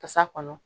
Kasa kɔnɔ